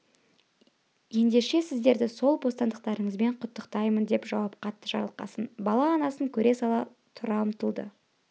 ендеше сіздерді сол бостандықтарыңызбен құттықтаймын деп жауап қатты жарылқасын бала анасын көре сала тұра ұмтылды